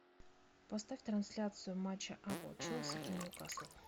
поставь трансляцию матча апл челси и ньюкасл